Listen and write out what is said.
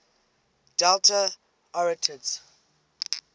delta arietids